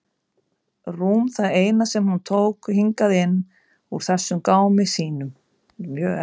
Rúm það eina sem hún tók hingað inn úr þessum gámi sínum.